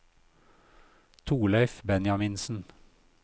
Thorleif Benjaminsen